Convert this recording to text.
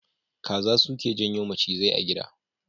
Kaza suke janyo macizai a gida.